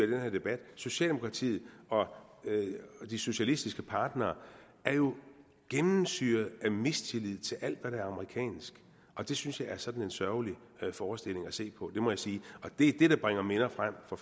den her debat socialdemokratiet og de socialistiske partnere er jo gennemsyret af mistillid til alt hvad der er amerikansk og det synes jeg er sådan en sørgelig forestilling at se på det må jeg sige og det er det der bringer minder frem fra